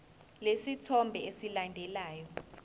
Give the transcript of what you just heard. lesi sithombe esilandelayo